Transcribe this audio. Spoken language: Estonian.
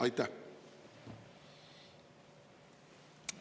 Aitäh!